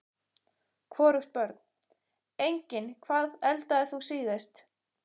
Hvorugt Börn: Engin Hvað eldaðir þú síðast?